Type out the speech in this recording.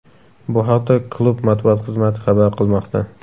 Bu haqda klub matbuot xizmati xabar qilmoqda .